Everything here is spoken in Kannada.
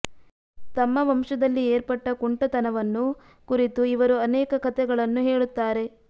ತಮ್ಮ ವಂಶದಲ್ಲಿ ಏರ್ಪಟ್ಟ ಕುಂಟತನವನ್ನು ಕುರಿತು ಇವರು ಅನೇಕ ಕಥೆಗಳನ್ನು ಹೇಳುತ್ತಾರೆ